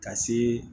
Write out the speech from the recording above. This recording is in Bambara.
Ka se